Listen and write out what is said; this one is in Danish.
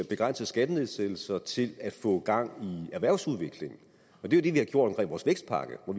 begrænsede skattenedsættelser til at få gang i erhvervsudviklingen det er det vi har gjort med vores vækstpakke for